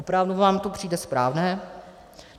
Opravdu vám to přijde správné?